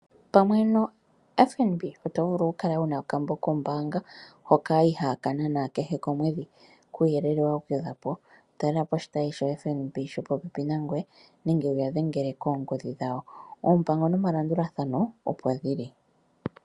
Pamwe noFNB oto vulu oku kala wuna okambo kombaanga hoka ihaaka nana kehe komwedhi. Kuuyelele wa gwedhwapo talela po oshitayi shoFNB shopopepi nangoye nenge wuya dhengele koongodhi dhawo. Oompango nomalandulathano opo dhili.